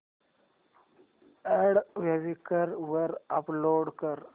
add Quikr वर upload कर